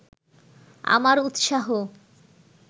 আমার উৎসাহ